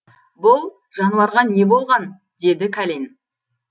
бұл жануарға не болған деді кәлен